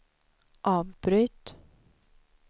avbryt